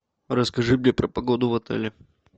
расскажи мне про погоду в отеле